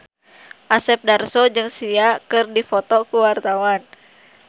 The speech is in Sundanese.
Asep Darso jeung Sia keur dipoto ku wartawan